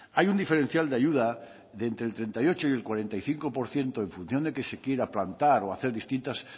hay un diferencial de ayuda de entre el treinta y ocho y el cuarenta y cinco por ciento en función de que se quiera plantar o hacer distintas